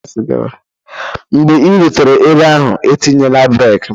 mgbe ị rutere ebe ahụ, etinyela breek!